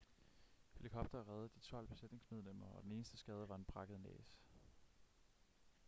helikoptere reddede de tolv besætningsmedlemmer og den eneste skade var en brækket næse